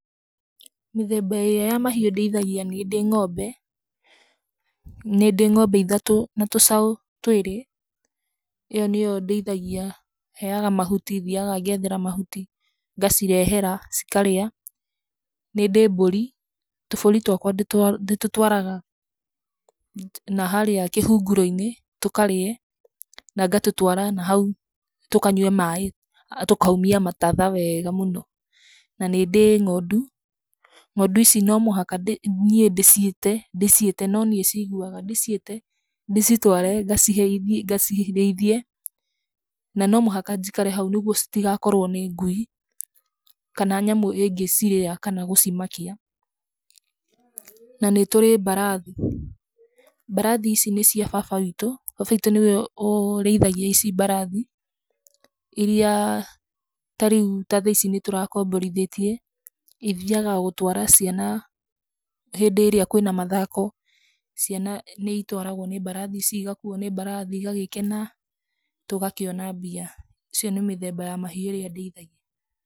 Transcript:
Mĩthemba ĩrĩa ya mahiũ ndĩithagia nĩndĩ ng'ombe, nĩndĩ ng'ombe ithatũ, na tũcaũ twĩrĩ, ĩyo nĩyo ndĩithagia. Heaga mahuti thiaga ngethera mahuti, ngacirehera cikarĩa. Nĩndĩ mbũri, tũbũri twakwa ndĩtũtwaraga na harĩa kĩhunguro-inĩ tũkarĩe na ngatũtwara na hau tũkanyue maĩ, tũkaumia mĩtatha weega mũno. Na, nĩndĩ ng'ondu. Ng'ondu ici no mũhaka ndĩciĩte niĩ ndĩciĩte no niĩ ciũgaga, ndĩciĩte ndĩcitware ngacirĩithie, na no mũhaka njikare hau nĩguo citigakorwo nĩ ngui, kana nyamũ ĩngĩcirĩa kana gũcimakia. Na nĩ tũrĩ mbarathi. Mbarati ici nĩ cia baba witũ, baba witũ nĩwe ũrĩithagia ici mbarathi, iria tarĩu ta thaa ici nĩtũrakomborithĩtie, ithiaga gũtwara ciana hĩndĩ ĩrĩa kwĩna mathako. Ciana nĩ itwaragwo nĩ mbarathi, cigakuo nĩ mbarathi cigakuo nĩ mbrathi igagĩkena, tũgakĩona mbia. Icio nĩ mĩthemba ya mahiũ ĩrĩa ndĩithagia.